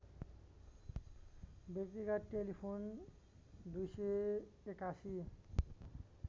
व्यक्तिगत टेलिफोन २८१